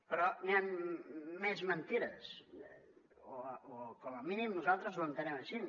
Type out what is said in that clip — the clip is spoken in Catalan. però hi han més mentides o com a mínim nosaltres ho entenem així